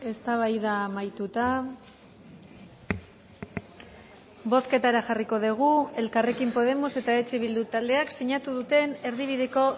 eztabaida amaituta bozketara jarriko dugu elkarrekin podemos eta eh bildu taldeak sinatu duten erdibideko